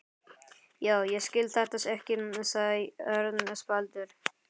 Já, ég skil þetta ekki sagði Örn spældur.